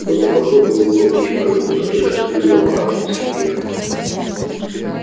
кто-то похлопал его по плечу как будто он только что выиграл марафонский бег